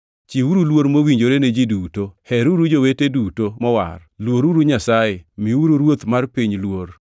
Chiwuru luor mowinjore ne ji duto. Heruru jowete duto mowar. Luoruru Nyasaye. Miuru ruoth mar piny luor.